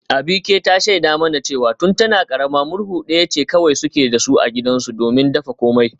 Abike ta shaida mana cewa tun tana karama murhu daya ce kawai suke da su a gidansu domin dafa komai